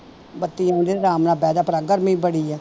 ਬੱਤੀ ਆਉਂਦੀ ਆਰਾਮ ਨਾਲ ਬਹਿ ਜਾ ਪਰਾ ਗਰਮੀ ਬੜੀ ਹੈ